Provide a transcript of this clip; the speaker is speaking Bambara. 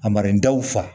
A mara in daw fa